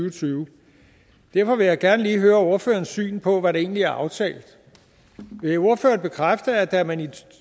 og tyve derfor vil jeg gerne lige høre ordførerens syn på hvad der egentlig er aftalt vil ordføreren bekræfte at da man i to